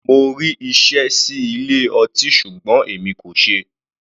Mo rí iṣẹ́ sí ilé ọtí ṣùgbọ́n èmi kò ṣeé.